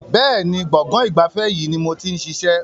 Bẹ́ẹ̀ni, gbọ̀ngàn ìgbafẹ́ yìí ni mo ti ń ṣiṣẹ́.